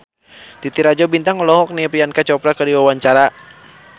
Titi Rajo Bintang olohok ningali Priyanka Chopra keur diwawancara